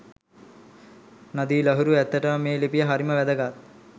නදී ලහිරු ඇත්තටම මේ ලිපිය හරිම වැදගත්.